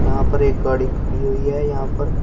यहां पर एक गाड़ी खड़ी हुई है यहां पर--